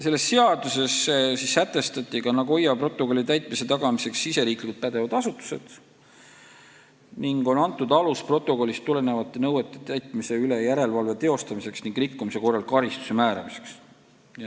Selles seaduses sätestati ka Nagoya protokolli täitmise tagamiseks pädevad Eesti asutused ning on antud alus protokollist tulenevate nõuete täitmise üle järelevalve teostamiseks ning rikkumise korral karistuse määramiseks.